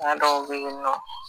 pa dɔw be yen nɔ